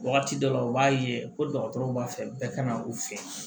Wagati dɔ la u b'a ye ko dɔgɔtɔrɔw b'a fɛ bɛɛ ka na u fɛ